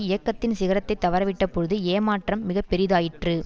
இயக்கத்தின் சிகரத்தை தவறவிட்ட பொழுது ஏமாற்றம் மிக பெரிதாயிற்று